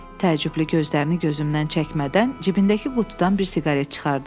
Təəccüblü gözlərini gözümdən çəkmədən cibindəki qutudan bir siqaret çıxardı.